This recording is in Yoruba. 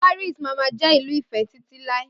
Paris mámá jẹ́ ìlú ìfé títí láé